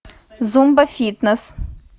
зумба фитнес